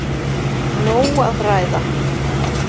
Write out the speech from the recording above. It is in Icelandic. Nóg að ræða!